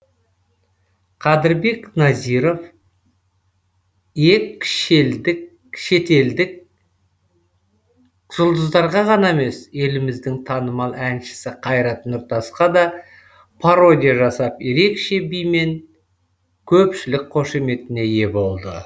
қадірбек назиров ек шетелдік жұлдыздарға ғана емес еліміздің танымал әншісі қайрат нұртасқа да пародия жасап ерекше бимен көпшілік қошеметіне ие болды